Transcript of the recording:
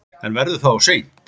En verður það of seint?